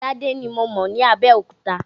Tádé ni mo mọ̀ ní Abẹ́òkúta.